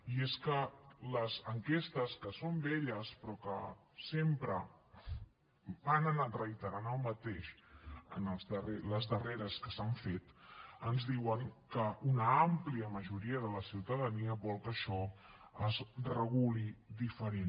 i és que les enquestes que són velles però que sempre han anat reiterant el mateix les darreres que s’han fet ens diuen que una àmplia majoria de la ciutadania vol que això es reguli diferent